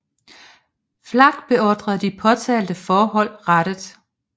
Flach beordre de påtalte forhold rettet